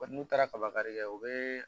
n'u taara kabakari kɛ u bɛ